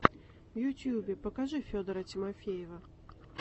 в ютьюбе покажи федора тимофеева